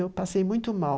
Eu passei muito mal.